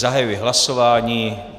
Zahajuji hlasování.